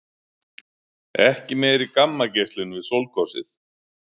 Ekki meiri gammageislun við sólgosið